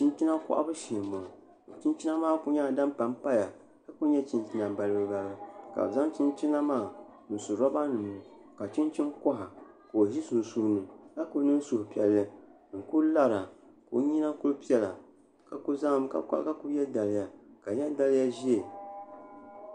Chinchina kohabu shee n boŋo chinchina maa ku nyɛla din panpaya ka ku nyɛ chinchina balibu balibu ka bi zaŋ chinchina maa n su roba nim ni ka chinchin koha maa ka o ʒi sunsuuni ka ku niŋ suhupiɛlli n ku lara ka o nyina ku piɛla ka ku yɛ daliya ka di nyɛ daliya ʒiɛ